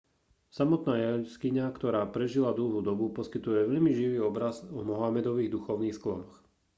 samotná jaskyňa ktorá prežila dlhú dobu poskytuje veľmi živý obraz o mohamedových duchovných sklonoch